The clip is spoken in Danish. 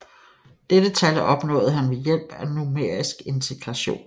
Dette tal opnåede han ved hjælp af numerisk integration